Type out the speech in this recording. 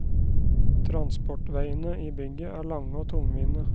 Transportveiene i bygget er lange og tungvinte.